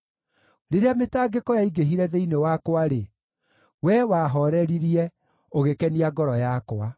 Rĩrĩa mĩtangĩko yaingĩhire thĩinĩ wakwa-rĩ, Wee wahooreririe, ũgĩkenia ngoro yakwa.